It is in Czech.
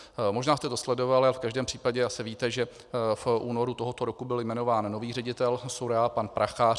Možná jste to sledovali, ale v každém případě asi víte, že v únoru tohoto roku byl jmenován nový ředitel SÚRAO, pan Prachař.